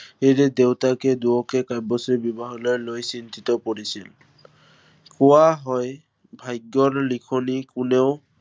এই যে দেউতাকে দুয়োকে কাব্যশ্ৰীৰ বিবাহক লৈ চিন্তিত হৈ পৰিছিল। কোৱা হয়, ভাগ্য়ৰ লিখনি কোনেও